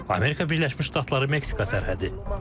Amerika Birləşmiş Ştatları Meksika sərhədi.